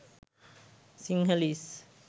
sinhalese